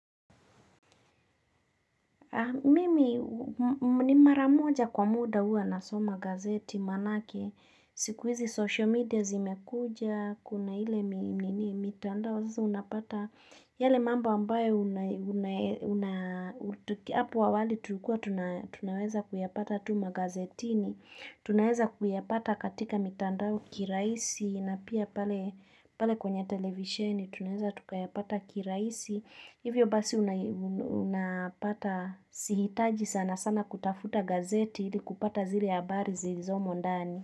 Mimi, ni maramoja kwa muda huwa na soma magazeti manake, sikuizi social media zimekuja, kuna ile mitandao, sasa unapata yale mamba ambaye Hapo awali tulikuwa tunaweza kuyapata tu magazetini, tunaweza kuyapata katika mitandao kirahisi, na pia pale kwenye televisheni tunaweza tukuyapata kirahisi. Hivyo basi unapata sihitaji sana sana kutafuta gazeti hili kupata zile habari zilizomo ndani.